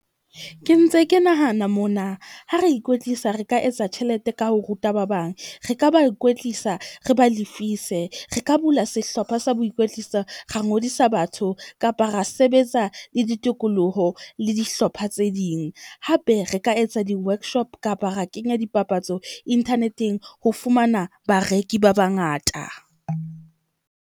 Ke ntse ke nahana mona. Ha re ikwetlisa re ka etsa tjhelete ka ho ruta ba bang, re ka ba kwetlisa, re ba lefise. Re ka bula sehlopha sa boikwetliso, ra ngodisa batho, kapa ra sebetsa le ditikoloho le dihlopha tse ding. Hape re ka etsa di-workshop kapa ra kenya dipapatso internet-eng ho fumana bareki ba bangata.